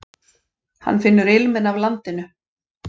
Hann finnur ilminn af landinu.